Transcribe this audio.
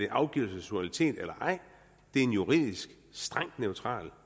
afgivelse af suverænitet eller ej er en juridisk strengt neutral